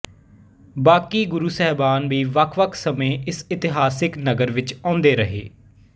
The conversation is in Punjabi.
ਬਾਕੀ ਗੁਰੂ ਸਾਹਿਬਾਨ ਵੀ ਵੱਖਵੱਖ ਸਮੇਂ ਇਸ ਇਤਿਹਾਸਕ ਨਗਰ ਵਿੱਚ ਆਉਂਦੇ ਰਹੇ